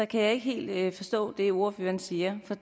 kan jeg ikke helt forstå det ordføreren siger